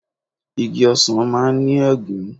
Igi Osan maa n ni egun